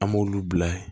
An b'olu bila